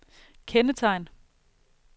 kendetegn